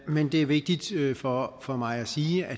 men det er vigtigt for for mig at sige at